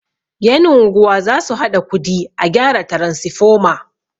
yan' unguwa za su haɗa kudi a gyara taransifoma